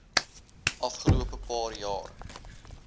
afgelope paar jaar